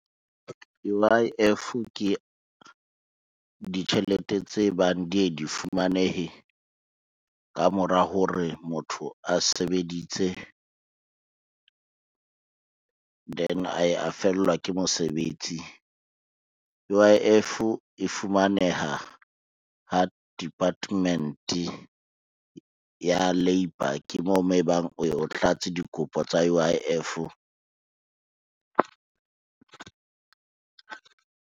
U_I_F ke ditjhelete tse bang di ye di fumanehe ka mora hore motho a sebeditse, then a ye a fellwa ke mosebetsi. U_I_F e fumaneha ha department ya labour, ke moo mo ebang o tlatse dikopo tsa U_I_F.